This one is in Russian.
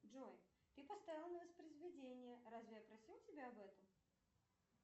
джой ты поставила на воспроизведение разве я просила тебя об этом